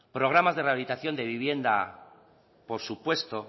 programas de rehabilitación de vivienda por supuesto